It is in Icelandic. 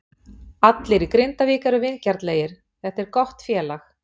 Allir í Grindavík eru vingjarnlegir, þetta er gott félag.